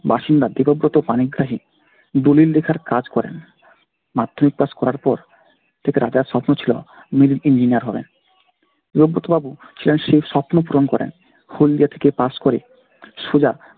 বাসিন্দা দেবব্রত পানিগ্রাহী দলিল লেখার কাজ করেন। মাধ্যমিক pass করার পর থেকে রাজার স্বপ্ন ছিল engineer হবেন। দেবব্রত বাবু ছেলের সেই স্বপ্ন পূরণ করেন। হলদিয়া থেকে pass করে সোজা